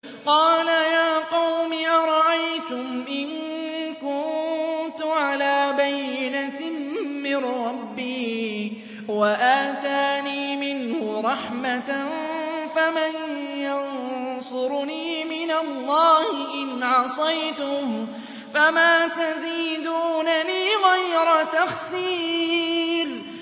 قَالَ يَا قَوْمِ أَرَأَيْتُمْ إِن كُنتُ عَلَىٰ بَيِّنَةٍ مِّن رَّبِّي وَآتَانِي مِنْهُ رَحْمَةً فَمَن يَنصُرُنِي مِنَ اللَّهِ إِنْ عَصَيْتُهُ ۖ فَمَا تَزِيدُونَنِي غَيْرَ تَخْسِيرٍ